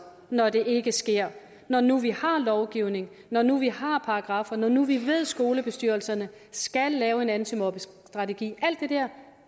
når det ikke sker når nu vi har en lovgivning når nu vi har paragraffer når nu vi ved at skolebestyrelserne skal lave en antimobningsstrategi alt